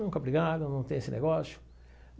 Nunca brigaram, não tem esse negócio.